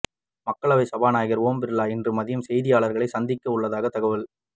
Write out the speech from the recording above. மக்களவை சபாநாயகர் ஓம் பிர்லா இன்று மதியம் செய்தியாளர்களை சந்திக்க உள்ளதாக தகவல்